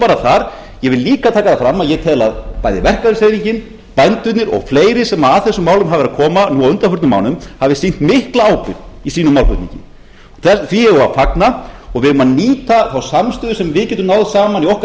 bara þar ég vil líka taka fram að ég tel að bæði verkalýðshreyfingin bændurnir og fleiri sem að þessum málum hafa verð að koma nú á undanförnum mánuðum hafi sýnt mikla ábyrgð í sínum málflutningi því eigum við að fagna og við eigum að nýta þá samstöðu sem við getum náð saman í okkar